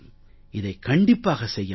இதைக் கண்டிப்பாக செய்ய முடியும்